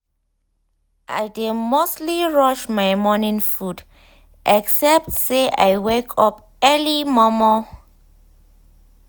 i dey mostly rush my morning food except say i wake up early mor mor